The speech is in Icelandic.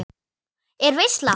Er veisla?